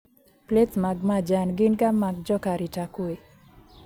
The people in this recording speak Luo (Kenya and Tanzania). Plets mag majan gin ga mag joka arita kwee